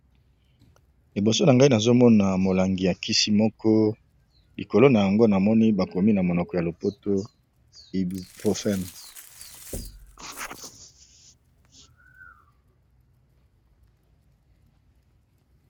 eboso na ngai nazomona molangi ya kisi moko likolo na yango na moni bakomi na monoko ya lopoto hibupropen